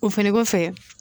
O fɛnɛ kɔfɛ